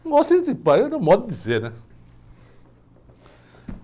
Não gosta entra pa, é um modo de dizer, né?